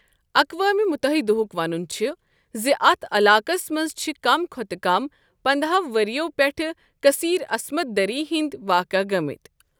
اقوام مُتحدہُک ونُن چھُ زِ اتھ علاقَس منٛز چھِ کم کھوتہٕ کم پنداہو ورۍ یِو پٮ۪ٹھ کٔثیٖر عَصمَت دٔری ہنٛدۍ واقعہٕ گٔمٕتۍ۔